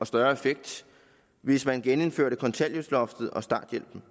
større effekt hvis man genindførte kontanthjælpsloftet og starthjælpen